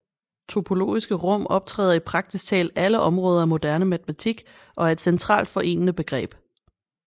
Topologiske rum optræder i praktisk talt alle områder af moderne matematik og er et centralt forenende begreb